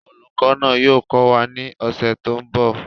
Olùkọ́ náà yóò kọ́ wa ní ọ̀sẹ̀ tó ń bọ̀